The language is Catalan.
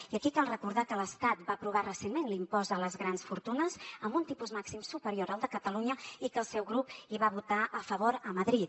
i aquí cal recordar que l’estat va aprovar recentment l’impost a les grans fortunes amb un tipus màxim superior al de catalunya i que el seu grup hi va votar a favor a madrid